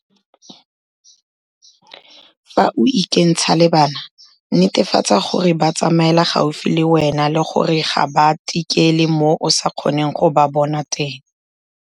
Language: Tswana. Fa o ikentsha le bana, netefatsa gore ba tsamaela gaufi le wena le gore ga ba tikele mo o sa kgoneng go ba bona teng.